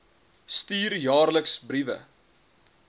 stuur jaarliks briewe